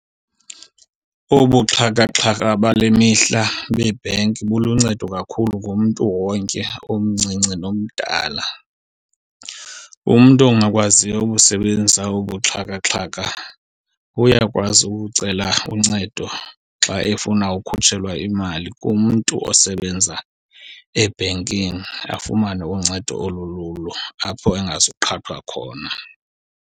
Obu buxhakaxhaka bale mihla beebhenki buluncedo kakhulu kumntu wonke omncinci nomdala. Umntu ongakwaziyo ukusebenzisa obu buxhakaxhaka uyakwazi ucela uncedo xa efuna ukhutshelwa imali kumntu osebenza ebhenkini, afumane uncedo olululo apho angazuqhathwa khona.